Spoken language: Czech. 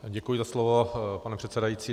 Děkuji za slovo, pane předsedající.